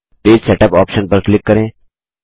page setup option पर click करें